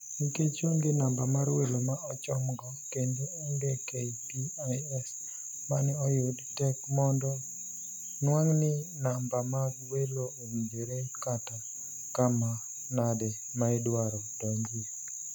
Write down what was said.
Nikech onge namba mar welo ma ochomgo kendo onge KPIs mane oyud, tek mondo nuang'ni namba mag welo owinjore kata kama nade maidwaro donjie.